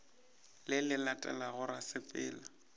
le le latelago ra sepela